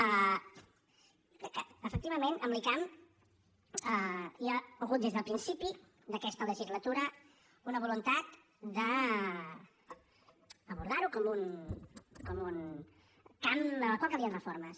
i jo crec que efectivament amb l’icam hi ha hagut des del principi d’aquesta legislatura una voluntat d’abordar ho com un camp en el qual calien reformes